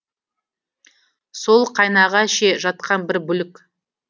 сол қайнаға ше жатқан бір бүлік